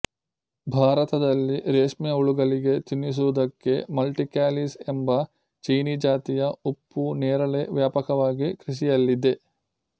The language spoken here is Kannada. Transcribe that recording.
ಭಾರತದಲ್ಲಿ ರೇಷ್ಮೆ ಹುಳುಗಳಿಗೆ ತಿನ್ನಿಸುವುದಕ್ಕೆ ಮಲ್ಟಿ ಕ್ಯಾಲಿಸ್ ಎಂಬ ಚೀನೀಜಾತಿಯ ಉಪ್ಪು ನೇರಳೆ ವ್ಯಾಪಕವಾಗಿ ಕೃಷಿಯಲ್ಲಿದೆ